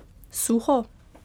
Suho?